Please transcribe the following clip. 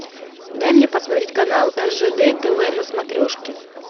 дай мне посмотреть канал ржд тв на смотрешке